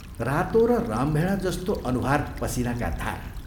रातो र रामभेडा जस्तो अनुहार पसीनाका धारा!